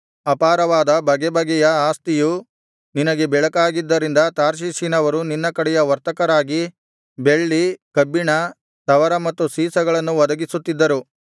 ಅಪಾರವಾದ ಬಗೆಬಗೆಯ ಆಸ್ತಿಯು ನಿನಗೆ ಬೇಕಾಗಿದ್ದರಿಂದ ತಾರ್ಷೀಷಿನವರು ನಿನ್ನ ಕಡೆಯ ವರ್ತಕರಾಗಿ ಬೆಳ್ಳಿ ಕಬ್ಬಿಣ ತವರ ಮತ್ತು ಸೀಸಗಳನ್ನು ಒದಗಿಸುತ್ತಿದ್ದರು